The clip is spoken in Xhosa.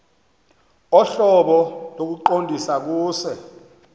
ohlobo lokuqondisa kuse